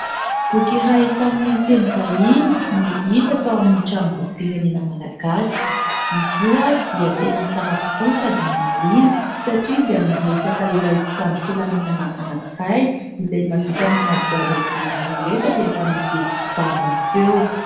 Boky iray tamin'ny teny vahiny no hita tao amin'ny tranom- bokim-pirenena Malagasy. Izy io dia tena tsara tokoa sady mahaliana, satria dia miresaka ilay mpitandro filaminana anankiray izay mahavita manadihady ny olona rehetra rehefa misy zava-miseho.